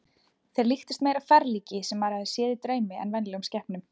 Þeir líktust meira ferlíki sem maður hafði séð í draumi en venjulegum skepnum.